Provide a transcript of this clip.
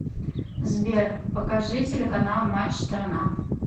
сбер покажи телеканал матч страна